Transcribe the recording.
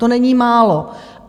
To není málo.